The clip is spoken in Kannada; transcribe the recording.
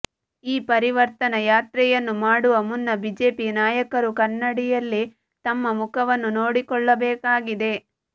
ಈ ಪರಿವರ್ತನಾ ಯಾತ್ರೆಯನ್ನು ಮಾಡುವ ಮುನ್ನ ಬಿಜೆಪಿ ನಾಯಕರು ಕನ್ನಡಿಯಲ್ಲಿ ತಮ್ಮ ಮುಖವನ್ನು ನೋಡಿಕೊಳ್ಳಬೇಕಾಗಿದೆ